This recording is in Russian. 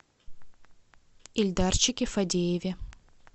ильдарчике фадееве